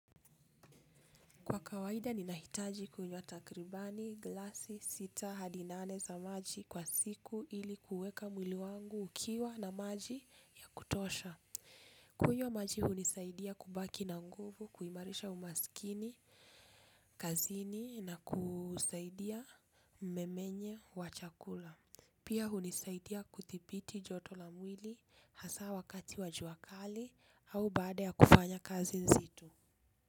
Kwa kawaida ninahitaji kunywa takribani, glasi, sita, hadi nane za maji kwa siku ili kuweka mwili wangu ukiwa na maji ya kutosha. Kunywa maji hunisaidia kubaki na nguvu, kuimarisha umaskini, kazini na kusaidia nimemenye wa chakula. Pia hunisaidia kuthibiti joto la mwili hasa wakati wa jua kali au baada ya kufanya kazi nzito.